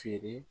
Feere